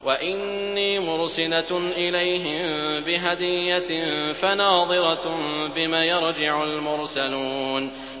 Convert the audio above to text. وَإِنِّي مُرْسِلَةٌ إِلَيْهِم بِهَدِيَّةٍ فَنَاظِرَةٌ بِمَ يَرْجِعُ الْمُرْسَلُونَ